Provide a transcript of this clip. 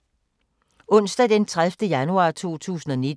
Onsdag d. 30. januar 2019